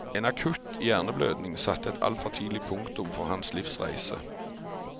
En akutt hjerneblødning satte et altfor tidlig punktum for hans livsreise.